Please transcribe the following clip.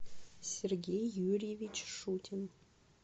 сергей юрьевич шутин